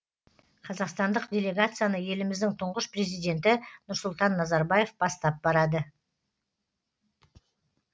қазақстандық делегацияны еліміздің тұңғыш президенті нұрсұлтан назарбаев бастап барады